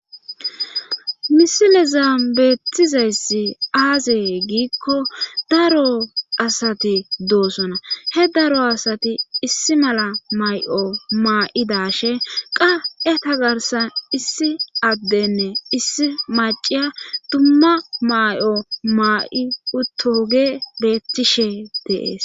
Misile zaambeetizayssi aazee giikko daro asati doosona he daro asati issi mala may7o maa7idashe qa7e tagarsan issi addenne issi maciya dumma may7o maa7i uttoge beetishe deees.